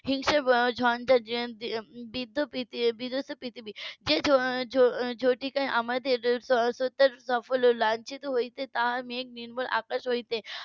হিংসা ঝঞ্ঝাট বৃদ্ধ~ বিধস্ত পৃথিবী যে ঝ~ ঝাটিকায় আমাদের সকল লাঞ্ছিত হতে তা মেঘ নির্মূল আকাশ থেকে